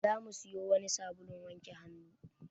Za mu siyo wani sabulun wanke hannu.